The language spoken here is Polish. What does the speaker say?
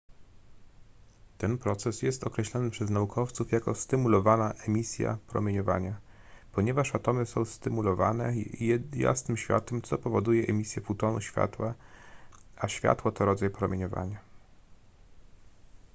ten proces jest określany przez naukowców jako stymulowana emisja promieniowania ponieważ atomy są stymulowane jasnym światłem co powoduje emisję fotonu światła a światło to rodzaj promieniowania